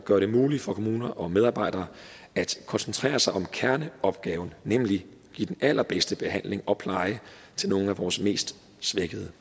gøre det muligt for kommuner og medarbejdere at koncentrere sig om kerneopgaven nemlig at give den allerbedste behandling og pleje til nogle af vores mest svækkede